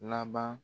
Laban